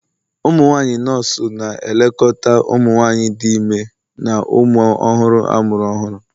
umunwanyi bụ nọọsụ na-elekọta ụmụ nwanyị dị ime na ụmụ ọhụrụ amụrụ ọhụrụ